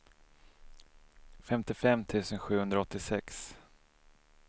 femtiofem tusen sjuhundraåttiosex